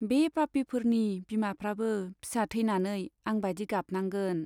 बे पापिफोरनि बिमाफ्राबो फिसा थैनानै आं बादि गाबनांगोन।